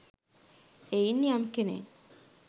එයින් යම් කෙනෙක්